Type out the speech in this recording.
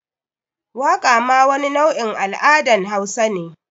Waqa ma wani nau’in al’adan hausa ne.